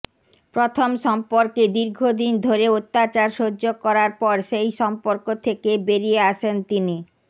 প্রথম সম্পর্কে দীর্ঘদিন ধরে অত্যাচার সহ্য করার পর সেই সম্পর্ক থেকে বেরিয়ে আসেন তিনি